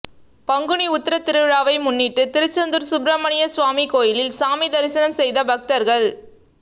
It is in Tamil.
பங்குனி உத்திர திருவிழாவை முன்னிட்டு திருச்செந்தூர் சுப்பிரமணிய சுவாமி கோவிலில் சாமி தரிசனம் செய்த பக்தர்கள்